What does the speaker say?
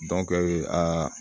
aa